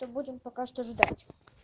то будем пока что ждать